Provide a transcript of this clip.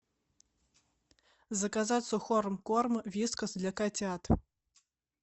заказать сухой корм вискас для котят